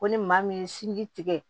Ko ni maa min ye sinji tigɛ